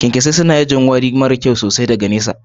kyankyasai su na wuri mara kyau sosai ana iya jin warin daga nesa.